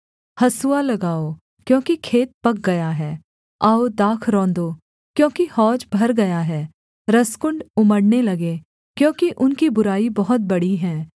हँसुआ लगाओ क्योंकि खेत पक गया है आओ दाख रौंदो क्योंकि हौज भर गया है रसकुण्ड उमड़ने लगे क्योंकि उनकी बुराई बहुत बड़ी है